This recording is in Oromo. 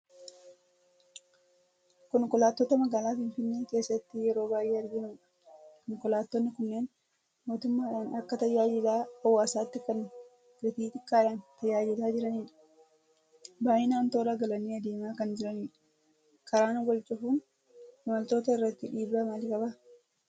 Konkolaattota magaalaa Finfinnee keessatti yeroo baay'ee arginu dha. Konkolaattonni kunneen mootummaadhaan akka tajaajila hawaasaatti kan gatii xiqqaadhaan tajaajilaa jiranidha. Baay'inaan toora galanii adeemaa kan jiranidha. Karaan wal cufuun imaltoota irratti dhiibbaa maalii qaba?